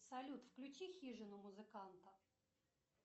салют включи хижину музыканта